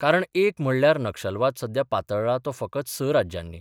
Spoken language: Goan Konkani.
कारण एक म्हणल्यार नक्षलवाद सध्या पातळ्ळा तो फकत स राज्यानी.